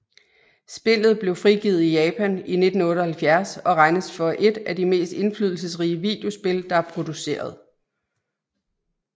Spillet blev frigivet i Japan i 1978 og regnes for et af de mest indflydelsesrige videospil der er produceret